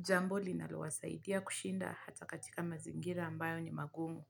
jambo linalowasaidia kushinda hata katika mazingira ambayo ni magumu.